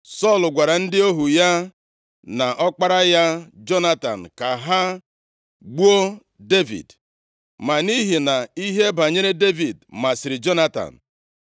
Sọl gwara ndị ohu ya na ọkpara ya, Jonatan, ka ha gbuo Devid. Ma nʼihi na ihe banyere Devid masịrị Jonatan,